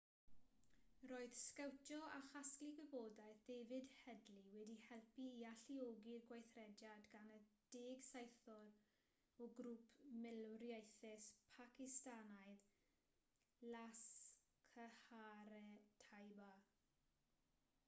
roedd sgowtio a chasglu gwybodaeth david headley wedi helpu i alluogi'r gweithrediad gan y 10 saethwr o grŵp milwriaethus pacistanaidd laskhar-e-taiba